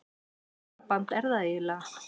Hvernig hjónaband er það eiginlega?